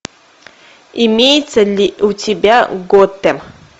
имеется ли у тебя готэм